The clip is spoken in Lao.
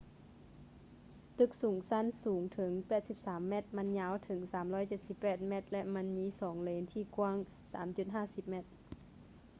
ຕຶກສອງຊັ້ນສູງເຖິງ 83 ແມັດ ມັນຍາວເຖິງ 378 ແມັດ ແລະ ມັນມີສອງເລນທີ່ກວ້າງ 3.50 ແມັດ